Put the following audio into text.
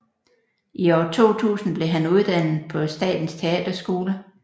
I år 2000 blev han uddannet på Statens Teaterskole